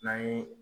N'an ye